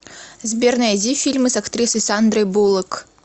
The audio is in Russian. сбер найди фильмы с актрисой сандрой буллок